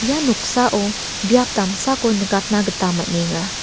ia noksao biap damsako nikatna gita man·enga.